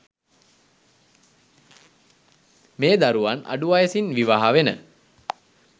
මේ දරුවන් අඩු වයසින් විවාහ වෙන